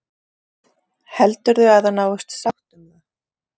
Heldurðu að það náist sátt um það?